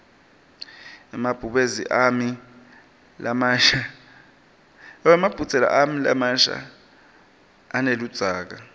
emabhudze ami lamasha aneludzaka